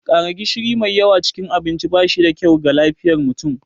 ƙara gishiri mai yawa cikin abinci ba shi da kyau ga lafiyar mutum